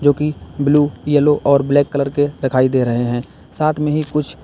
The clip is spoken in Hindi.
की ब्लू येलो और ब्लैक कलर के देखाई दे रहे हैं साथ में ही कुछ--